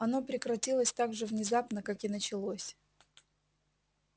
оно прекратилось так же внезапно как и началось